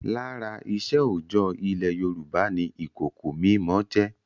Lára iṣẹ́ òòjọ́ ilẹ̀ Yorùbá ni ìkòkò mímọ jẹ́.